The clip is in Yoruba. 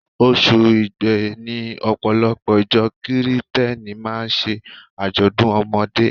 Oṣù Igbe ni Ọ̀pọ̀lọpọ̀ ìjọ Kirìtẹ́nì máa ń ṣe àjọ̀dún ọmọdé.